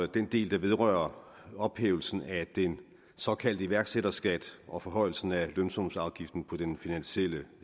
den del der vedrører ophævelsen af den såkaldte iværksætterskat og forhøjelsen af lønsumsafgiften for den finansielle